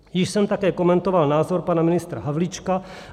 Již jsem také komentoval názor pana ministra Havlíčka.